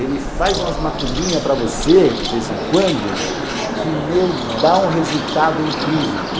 Ele faz umas macumbinhas para você, de vez em quando, que, meu, dá um resultado incrível.